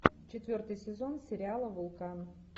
четвертый сезон сериала вулкан